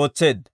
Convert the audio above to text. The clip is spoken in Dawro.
ootseedda.